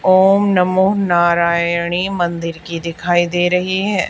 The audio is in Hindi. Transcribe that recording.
ओम नमो नारायणी मंदिर की दिखाई दे रही है।